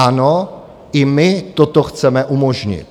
Ano, i my toto chceme umožnit.